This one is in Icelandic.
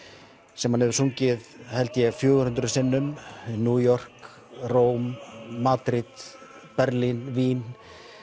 sem hann hefur sungið held ég fjögur hundruð sinnum í New York Róm Madrid Berlín Vín